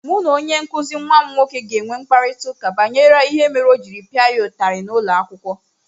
Mụ na onye nkụzi nwa m nwoke ga-enwe mkparịta ụka banyere ihe mere o ji pịa ya ụtarị n’ụlọ akwụkwọ.